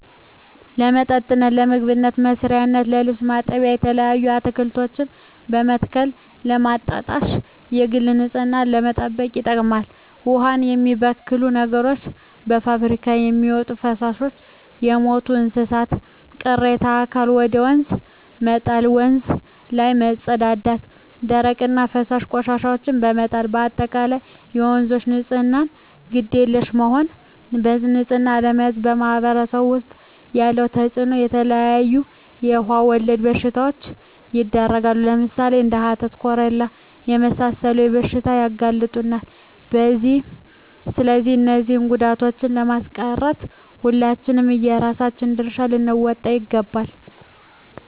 ለመጠጥነት ለምግብ መስሪያነት ለልብስ ማጠቢያነት የተለያዩ አትክልቶችን በመትከል ለማጠጣት የግል ንፅህናን ለመጠበቅ ይጠቅማል ዉሃን የሚበክሉ ነገሮች - ከፍብሪካ የሚወጡ ፈሳሾች - የሞቱ የእንስሳት ቅሬታ አካል ወደ ወንዝ መጣል - ወንዝ ላይ መፀዳዳት - ደረቅ ወይም ፈሳሽ ቆሻሻዎችን በመጣል - በአጠቃላይ ለወንዞች ንፅህና ግድ የለሽ መሆን በንፅህና አለመያዝ በማህበረሰቡ ዉስጥ ያለዉ ተፅእኖ - የተለያዩ የዉሃ ወለድ በሽታዎች ይዳረጋሉ ለምሳሌ፦ እንደ ሀተት፣ ኮሌራ ለመሳሰሉት በሽታዎች ያጋልጡናል ስለዚህ እነዚህን ጉዳቶችን ለማስቀረት ሁላችንም የየራሳችን ድርሻ ልንወጣ ይገባል